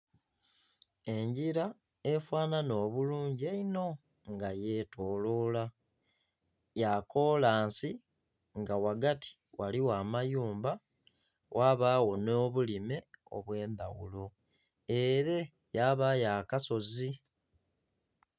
Enjira efananha obulungi einho nga yetolola ya kolansi nga wagati waliwo amayumba wabawo no bulime obwe ndhaghulo ere wabawo akasozi.